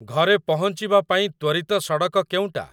ଘରେ ପହଞ୍ଚିବା ପାଇ ତ୍ଵରିତ ସଡ଼କ କେଉଁଟା?